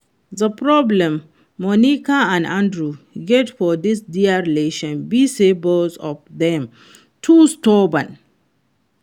The problem Monica and Andrew get for dis dia relationship be say both of dem too stubborn